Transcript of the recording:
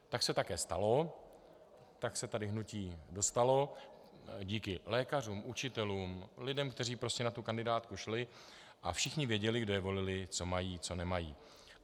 Tak se také stalo, tak se sem hnutí dostalo, díky lékařům, učitelům, lidem, kteří prostě na tu kandidátku šli, a všichni věděli, kdo je volili, co mají, co nemají.